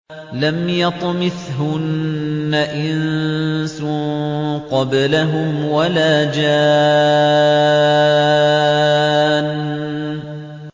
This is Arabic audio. لَمْ يَطْمِثْهُنَّ إِنسٌ قَبْلَهُمْ وَلَا جَانٌّ